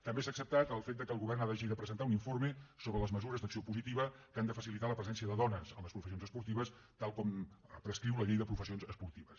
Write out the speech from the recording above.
també s’ha acceptat el fet que el govern hagi de presentar un informe sobre les mesures d’acció positiva que han de facilitar la presència de dones en les professions esportives tal com prescriu la llei de les professions esportives